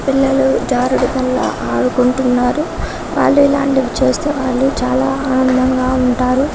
పిల్లలు జారుడు బల్ల ఆడుకుంటున్నారు వాళ్ళు ఇలాంటివి చేస్తూ వాళ్ళు చాలా ఆనందంగా ఉంటారు